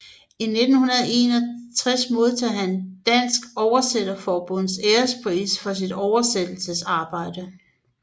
I 1961 modtog han Dansk Oversætterforbunds Ærespris for sit oversættelsesarbejde